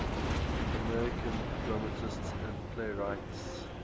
american dramatists and playwrights